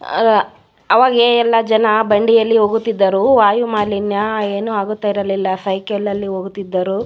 ಆಹ್ಹ್ ಆವಾಗ ಎಲ್ಲ ಜನ ಬಂಡಿಯಲ್ಲಿ ಹೋಗುತ್ತಿದ್ದರು ವಾಯು ಮಾಲಿನ್ಯ ಏನು ಆಗುತ್ತಾ ಇರಲಿಲ್ಲ ಸೈಕಲ್ ಅಲ್ಲಿ ಹೋಗುತ್ತಿದ್ದರು --